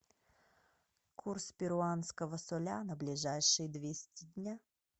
курс перуанского соля на ближайшие двести дня